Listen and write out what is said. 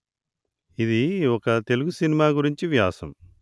ఇది ఒక తెలుగు సినిమా గురించిన వ్యాసం